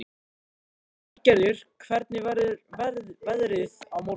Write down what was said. Bjarngerður, hvernig verður veðrið á morgun?